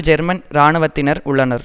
German இராணுவத்தினர் உள்ளனர்